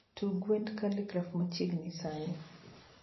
Tug wende Khaligraph machieng sani